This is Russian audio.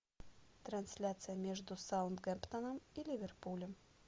трансляция между саутгемптоном и ливерпулем